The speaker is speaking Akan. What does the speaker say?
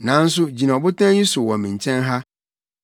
“Nanso gyina ɔbotan yi so wɔ me nkyɛn ha.